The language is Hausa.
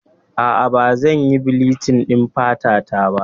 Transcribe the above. Aa, Ba zan yi bilichin ɗin fata ta ba